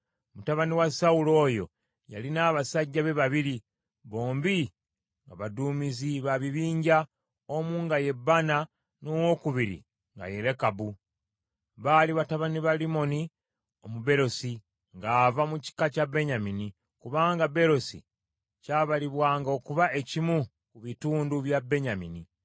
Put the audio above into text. Mutabani wa Sawulo oyo yalina abasajja be babiri, bombi nga baduumizi ba bibinja, omu nga ye Baana, n’owokubiri nga ye Lekabu. Baali batabani ba Limmoni Omubeerosi ng’ava mu kika kya Benyamini, kubanga Beerosi kyabalibwanga okuba ekimu ki bitundu bya Benyamini,